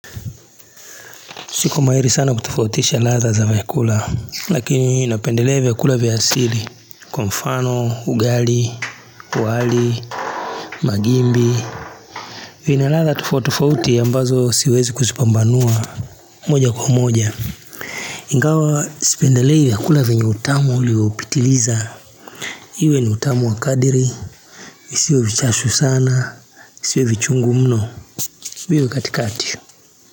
Siko mahiri sana kutufautisha latha za vyakula, lakini inapendelea vyakula ya asili, kwa mfano, ugali, uwali, magimbi, vina latha tufautufauti ambazo siwezi kuzipambanua moja kwa moja. Ingawa sipendelei vyakula vyenye utamu uliwa upitiliza. Iwe ni utamu wa kadiri, isiwe vichashu sana, siwe vichungu mno, biwe katikati.